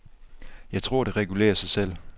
Jeg tror, det regulerer sig selv.